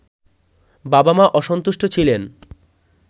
বাবা মা অসন্তুষ্ট ছিলেন